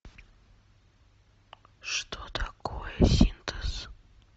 что такое синтез